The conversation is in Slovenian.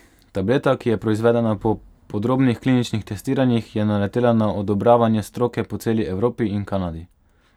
Tableta, ki je proizvedena po podrobnih kliničnih testiranjih, je naletela na odobravanje stroke po celi Evropi in Kanadi.